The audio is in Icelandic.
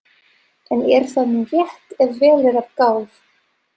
En er það nú rétt ef vel er að gáð?